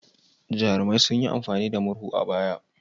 Jarumai sun yi amfani da murhu a baya.